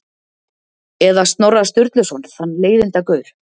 Eða Snorra Sturluson, þann leiðindagaur?